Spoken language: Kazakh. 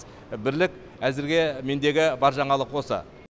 бірлік әзірге мендегі бар жаңалық осы